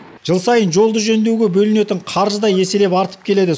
жыл сайын жолды жөндеуге бөлінетін қаржы да еселеп артып келеді